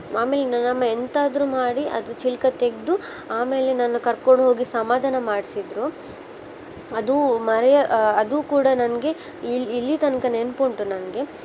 ಆಮೇಲೆ ನನ್ನ್ ಅಮ್ಮ ಎಂತ ಆದ್ರು ಮಾಡಿ ಅದ್ ಚಿಲ್ಕ ತೆಗ್ದು ಆಮೇಲೆ ನನ್ನ್ ಕರ್ಕೊಂಡ ಹೋಗಿ ಸಮಾಧಾನ ಮಾಡ್ಸಿದ್ರು. ಅದು ಮರೆಯ~ ಆ ಅದು ಕೂಡ ನಂಗೆ ಇಲ್ಲಿ ಇಲ್ಲಿ ತನಕ ನೆನ್ಪ್ ಉಂಟು ನಂಗೆ.